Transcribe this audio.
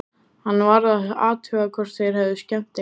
Hann varð að athuga hvort þeir hefðu skemmt eitthvað.